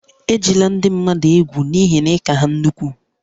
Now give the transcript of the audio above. Ejila ndị mmadụ egwu n'ihi na ị ka ha nnukwu